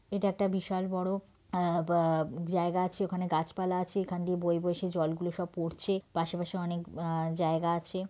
এটা একটা বিশাল বড়ো আবা জায়গা আছে ওখানে গাছপালা আছে এখানে দিয়ে বয়ে বয়ে সেই জলগুলো সব পড়ছে পাশে পাশে অনেক আ জায়গা আছে।